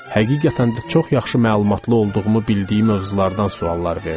Həqiqətən də çox yaxşı məlumatlı olduğumu bildiyi mövzulardan suallar verdi.